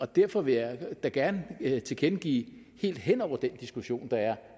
derfor vil jeg da gerne tilkendegive helt hen over den diskussion der er